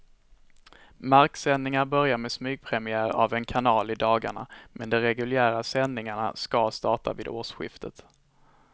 Marksändningar börjar med smygpremiär av en kanal i dagarna, men de reguljära sändningarna ska starta vid årsskiftet.